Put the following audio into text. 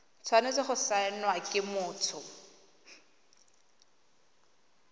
tshwanetse go saenwa ke motho